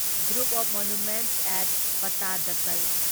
group of monuments at Pattadakal